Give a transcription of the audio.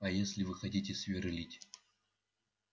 а если вы хотите сверлить